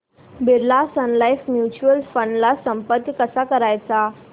Birla sun life mutual fund ला संपर्क कसा करायचा